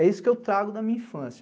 É isso que eu trago da minha infância.